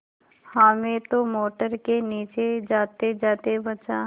हामिद तो मोटर के नीचे जातेजाते बचा